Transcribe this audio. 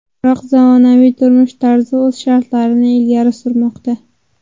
Biroq zamonaviy turmush tarzi o‘z shartlarini ilgari surmoqda.